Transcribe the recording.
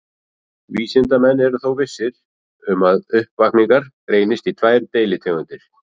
Vísindamenn eru þó vissir um að uppvakningar greinast í tvær deilitegundir.